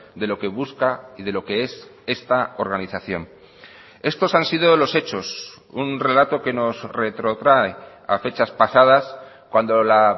de lo que busca y de lo que es esta organización estos han sido los hechos un relato que nos retrotrae a fechas pasadas cuando la